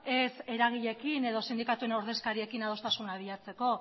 ez eragileekin edo sindikatuen ordezkariekin adostasuna bilatzeko